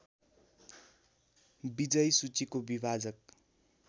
विजयी सूचीको विभाजक